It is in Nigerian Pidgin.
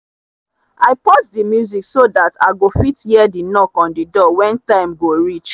i pause the music so that i go fit hear the knock on the door when time go reach.